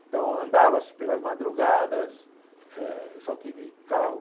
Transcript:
Então, andava-se pelas madrugadas, eh eu só tive carro...